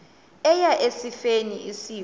eya esifeni isifo